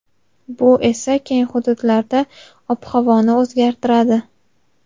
bu esa keng hududlarda ob-havoni o‘zgartiradi.